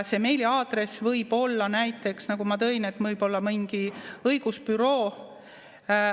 See meiliaadress võib olla, nagu ma näiteks tõin, mingi õigusbüroo.